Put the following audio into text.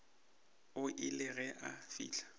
o ile ge a fihla